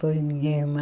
Foi minha irmã.